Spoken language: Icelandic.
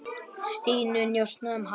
Stínu, njósna um hana.